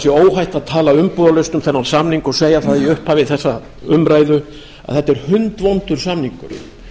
sé óhætt að tala umbúðalaust um þennan samning og segja það í upphafi þessarar umræðu að þetta er hundvondur samningur